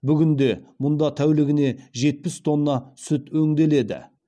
бүгінде мұнда тәулігіне жетпіс тонна сүт өңделеді